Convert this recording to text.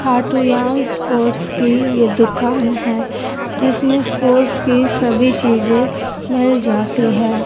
खाटू याना स्पोर्ट्स की ये दुकान है जिसमें स्पोर्ट्स की सभी चीजे मिल जाती है।